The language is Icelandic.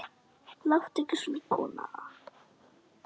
Láttu ekki svona, kona.